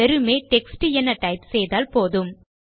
வெறுமே டெக்ஸ்ட் என டைப் செய்தால் போதும்